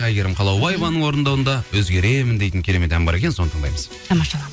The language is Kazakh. әйгерім қалаубаеваның орындауында өзгеремін дейтін керемет ән бар екен соны тыңдаймыз